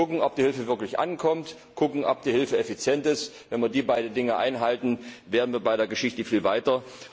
Kucken, ob die Hilfe wirklich ankommt, kucken, ob die Hilfe effizient ist wenn wir diese beiden Dinge einhalten, wären wir bei der Geschichte viel weiter.